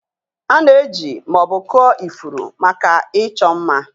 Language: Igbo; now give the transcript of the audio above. A na-eji ma ọ bụ kụọ ifuru maka ịchọ mma.